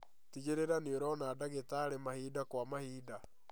Tigĩrĩra nĩũrona ndagĩtarĩ mahinda kwa mahinda